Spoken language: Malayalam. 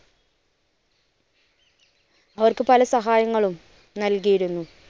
അവർക്ക് പല സഹായങ്ങളും നല്കിയിരുന്നു.